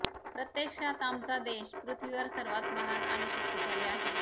प्रत्यक्षात आमचा देश पृथ्वीवर सर्वात महान आणि शक्तिशाली आहे